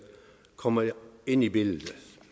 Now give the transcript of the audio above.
kommer ind i billedet